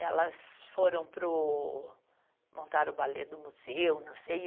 Elas foram para o, montaram o balé do museu, não sei.